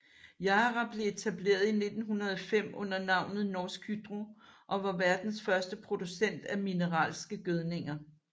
Yara blev etableret i 1905 under navnet Norsk Hydro og var verdens første producent af mineralske gødninger